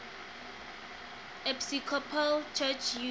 episcopal church usa